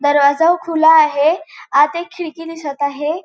दरवाजा खुला आहे. आत एक खिडकी दिसत आहे.